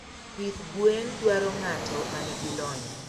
Pith gwe dwaro ng'ato manigi lony.